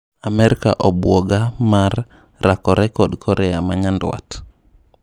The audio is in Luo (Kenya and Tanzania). Amerka obuoga mar raakore kod Korea manyandwat.